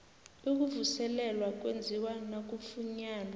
ukuvuselelwa kwenziwa nakufunyanwa